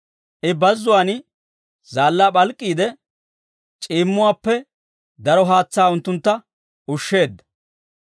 I bazzuwaan zaallaa p'alk'k'iide, c'iimmuwaappe daro haatsaa unttuntta ushsheedda.